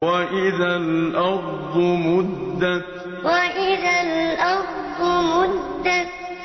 وَإِذَا الْأَرْضُ مُدَّتْ وَإِذَا الْأَرْضُ مُدَّتْ